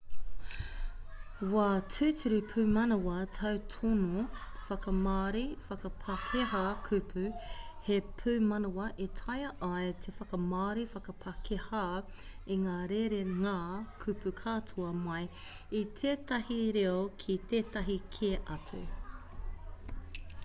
wā tūturu pūmanawa tautono whakamāori/whakapākehā kupu - he pūmanawa e taea ai te whakamāori/whakapākehā i ngā rerenga kupu katoa mai i tētahi reo ki tētahi kē atu